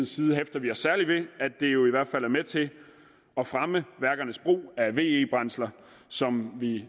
side hæfter vi os særlig ved at det jo i hvert fald er med til at fremme værkernes brug af ve brændsler som vi